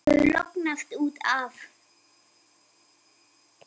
Þú hefur lognast út af!